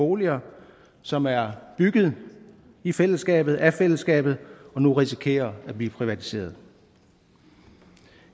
boliger som er bygget i fællesskabet af fællesskabet og nu risikerer at blive privatiseret